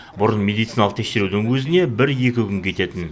бұрын медициналық тексерудің өзіне бір екі күн кететін